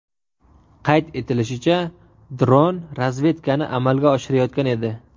Qayd etilishicha, dron razvedkani amalga oshirayotgan edi.